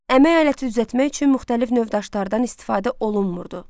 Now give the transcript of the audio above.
Əmək aləti düzəltmək üçün müxtəlif növ daşlardan istifadə olunmurdu.